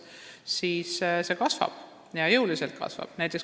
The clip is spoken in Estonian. Me näeme, et see arv kasvab ja kasvab jõuliselt.